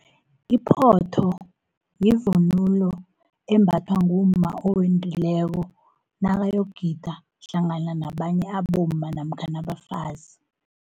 Iphotho, yivunulo embathwa ngumma owendileko, nakayokugida hlangana nabanye abomma namkhana abafazi.